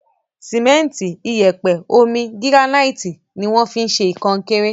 Sìmẹ́ntì, iyẹ̀pẹ̀, omi, gíránáìtì ni wọ́n fi ń ṣe kọnkéré.